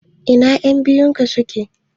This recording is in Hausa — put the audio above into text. Ina ƴan biyun ka suke?